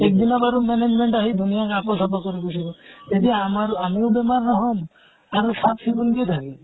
এক দিনা বাৰু management আহি ধুনীয়াকে আকৌ চাফা কৰি গুছি গʼল। এতিয়া আমাৰ আমিও বেমাৰ নহম আৰু চাফ চিকুন কে থাকিম।